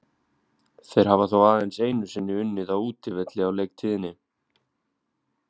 Þeir hafa þó aðeins einu sinni unnið á útivelli á leiktíðinni.